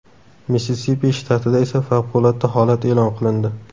Missisipi shtatida esa favqulodda holat e’lon qilindi.